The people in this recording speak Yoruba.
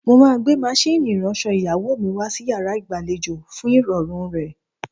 Mo máa gbé maṣíìnì ìránṣọ ìyàwó mi wá sí yàrá ìgbàlejò fún ìrọ̀rùn rẹ̀.